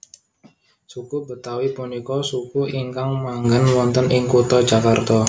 Suku Betawi punika suku ingkang manggen wonten ing kutha Jakarta